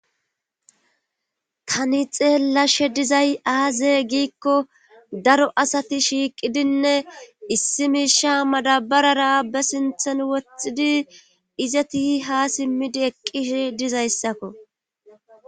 tani xeellashe dizay aaze giikko daro asati shiiqidinne issi miisha madabarara be sinthan woththidi izati ha simmidi eqqidi dizayssakko